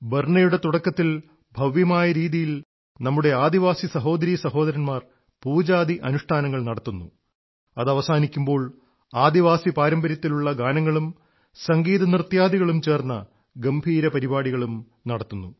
ബർനയുടെ തുടക്കത്തിൽ ഭവ്യമായ രീതിയിൽ നമ്മുടെ ആദിവാസി സഹോദരീ സഹോദരന്മാർ പൂജാദി അനുഷ്ഠാനങ്ങൾ നടത്തുന്നു അതവസാനിക്കുമ്പോൾ ആദിവാസി പാരമ്പര്യത്തിലുള്ള ഗാനങ്ങളും സംഗീതനൃത്യാദികളും ചേർന്ന ഗംഭീര പരിപാടികളും നടത്തുന്നു